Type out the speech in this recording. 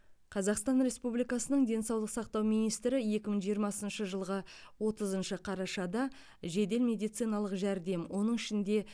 қазақстан республикасының денсаулық сақтау министрі екі мың жиырмасыншы жылғы отызыншы қарашада жедел медициналық жәрдем оның ішінде